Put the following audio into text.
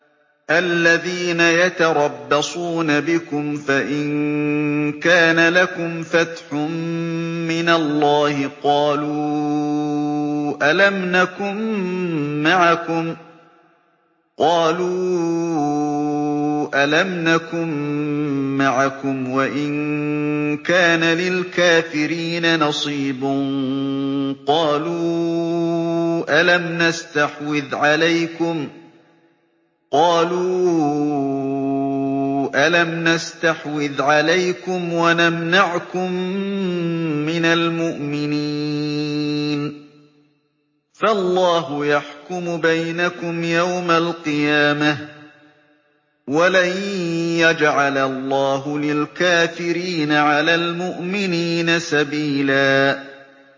الَّذِينَ يَتَرَبَّصُونَ بِكُمْ فَإِن كَانَ لَكُمْ فَتْحٌ مِّنَ اللَّهِ قَالُوا أَلَمْ نَكُن مَّعَكُمْ وَإِن كَانَ لِلْكَافِرِينَ نَصِيبٌ قَالُوا أَلَمْ نَسْتَحْوِذْ عَلَيْكُمْ وَنَمْنَعْكُم مِّنَ الْمُؤْمِنِينَ ۚ فَاللَّهُ يَحْكُمُ بَيْنَكُمْ يَوْمَ الْقِيَامَةِ ۗ وَلَن يَجْعَلَ اللَّهُ لِلْكَافِرِينَ عَلَى الْمُؤْمِنِينَ سَبِيلًا